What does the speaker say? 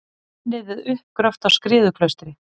Unnið við uppgröft á Skriðuklaustri.